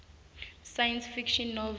science fiction novel